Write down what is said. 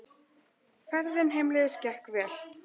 Ferðin heimleiðis gekk vel.